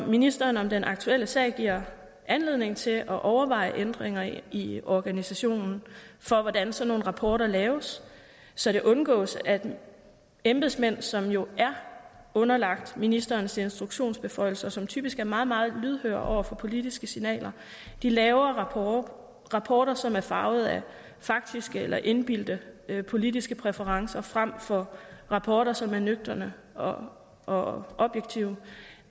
ministeren om den aktuelle sag giver anledning til at overveje ændringer i organisationen af hvordan sådanne rapporter laves så det undgås at embedsmænd som jo er underlagt ministerens instruktionsbeføjelser og som typisk er meget meget lydhøre over for politiske signaler laver rapporter rapporter som er farvet af faktiske eller indbildte politiske præferencer frem for rapporter som er nøgterne og og objektive